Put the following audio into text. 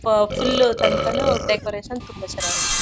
ಆ ಫುಲ್ ತನಕನೂ ಡೆಕೋರೇಷನ್ ತುಂಬಾ ಚೆನ್ನಾಗಿದೆ.